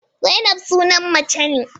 Zainab sunan mace ne.